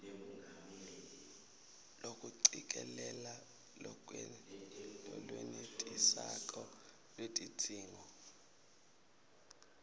kucikelela lolwenetisako lwetidzingo